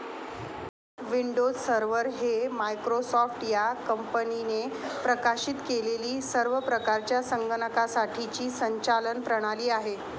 Windows server हे Microsoft या कंपनीने प्रकाशित केलेली सर्व प्रकारच्या संगणकासाठीची संचालन प्रणाली आहे.